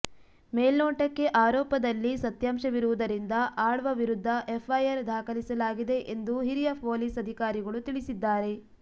ಮೇಲ್ನೋಟಕ್ಕೆ ಆರೋಪದಲ್ಲಿ ಸತ್ಯಾಂಶವಿರುವುದರಿಂದ ಆಳ್ವ ವಿರುದ್ಧ ಎಫ್ಐಆರ್ ದಾಖಲಿಸಲಾಗಿದೆ ಎಂದು ಹಿರಿಯ ಪೊಲೀಸ್ ಅಧಿಕಾರಿಗಳು ತಿಳಿಸಿದ್ದಾರೆ